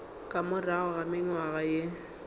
ka morago ga mengwaga ye